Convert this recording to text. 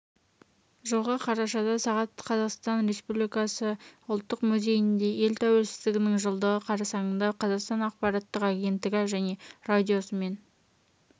жылғы қарашада сағат қазақстан республикасы ұлттық музейінде ел тәуелсіздігінің жылдығы қарсаңында қазақстан ақпараттық агенттігі және радиосымен